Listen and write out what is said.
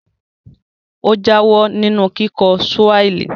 Ó jáwọ́ nínú kíkọ́ Swahili